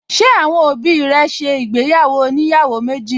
Ṣé àwọn òbí rẹ̀ ṣe ìgbéyàwó oníyàwó méjì?